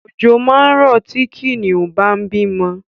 Ọ̀jọ̀ máa rọ̀ tí Kìnìún bá ń bímọ